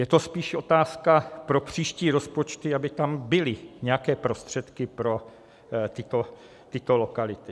Je to spíše otázka pro příští rozpočty, aby tam byly nějaké prostředky pro tyto lokality.